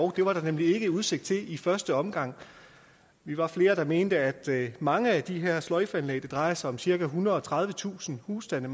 det var der nemlig ikke udsigt til i første omgang vi var flere der mente at mange af de her sløjfeanlæg det drejer sig om cirka ethundrede og tredivetusind husstande